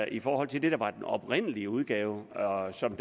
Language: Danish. i forhold til det der var den oprindelige udgave og som